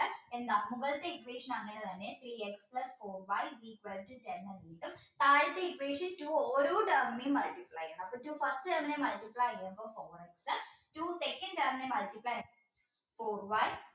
എന്താ മുമ്പത്തെ equation അങ്ങനെ തന്നെ three x plus four y equal to കിട്ടും താഴത്തെ equation two ഓരോ term നേയും multiply ചെയ്യണം first term multiply ചെയ്യുമ്പോൾ four x two second term multiply four y